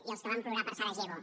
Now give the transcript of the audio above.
i els que vam plorar per sarajevo